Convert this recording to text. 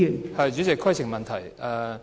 代理主席，規程問題。